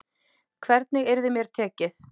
Hvernig yrði mér tekið.